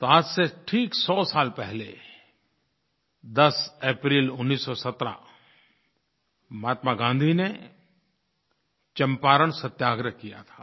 तो आज से ठीक सौ साल पहले 10 अप्रैल 1917 महात्मा गाँधी ने चंपारण सत्याग्रह किया था